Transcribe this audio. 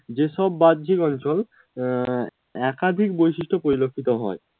যে সব আহ বাহ্যিক অঞ্চল একাধিক বৈশিষ্ট্য পরিলক্ষিত হয়